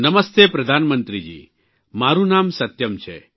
નમસ્તે પ્રધાનમંત્રીજી મારૂં નામ સત્યમ છે